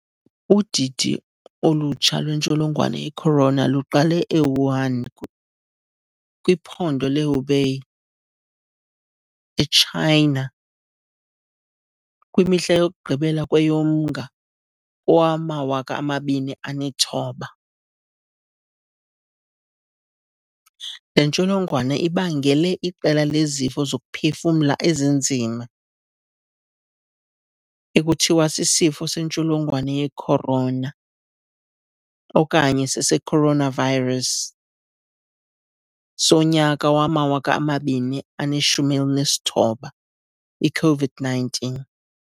Udidi olutsha lwentsholongwane yecorona luqale eWuhan, kwiphondo leHubei, eChina, kwimihla yokugqibela kweyoMnga kowama-2019. Le ntsholongwane ibangele iqela lezifo zokuphefumla ezinzima, ekuthiwa sisifo sentsholongwane yecorona okanye secoronavirus sonyaka wama-2019, i-COVID-19.